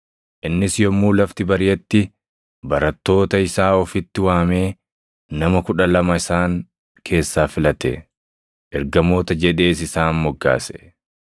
Innis yommuu lafti bariʼetti barattoota isaa ofitti waamee nama kudha lama isaan keessaa filate; ergamoota jedhees isaan moggaase.